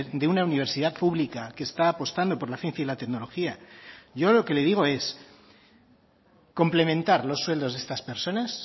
de una universidad pública que está apostando por la ciencia y la tecnología yo lo que le digo es complementar los sueldos de estas personas